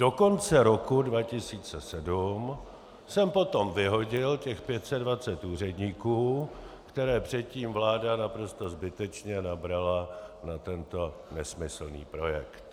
Do konce roku 2007 jsem potom vyhodil těch 520 úředníků, které předtím vláda naprosto zbytečně nabrala na tento nesmyslný projekt.